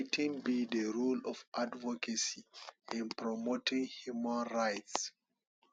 wetin be di role of advocacy in promoting human rights